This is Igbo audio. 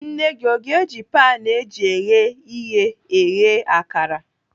Nne gị o ga-eji panu eji eghe ihe eghe akara?